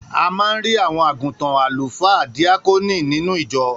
A man rí àwọn àgùntàn, alufaa, díákónì, nínú ìjọ